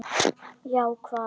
Já, hvað?